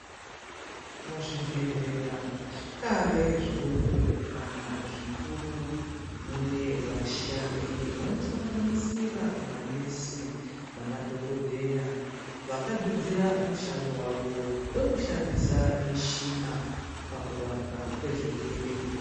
Muzvibhedhlera, zvikave zvidoko kana zvikuru, munevashandi vanosanganisira manesi namadhokodheya. Vakadzidzira mushando wavo wekushandisa mishina pakurapwa kwezvirwere.